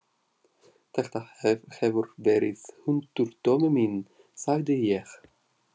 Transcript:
Þetta hefur verið hundur, Tommi minn, sagði ég.